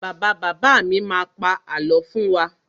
Bàbá bàbá mi má pa àlọ́ fún wa.